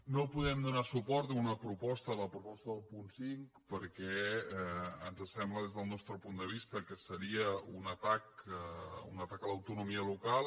no podem donar suport a una proposta la proposta del punt cinc perquè ens sembla des del nostre punt de vista que seria un atac a l’autonomia local